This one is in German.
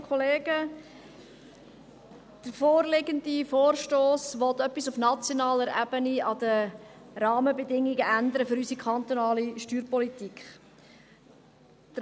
Der vorliegende Vorstoss will etwas auf nationaler Ebene an den Rahmenbedingungen für unsere kantonale Steuerpolitik ändern.